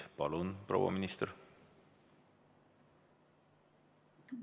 Palun, proua minister!